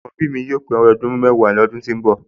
Àkọ́bí mi yóò pé ọmọ ọdún mẹ́wàá ní ọdún tó ń bọ̀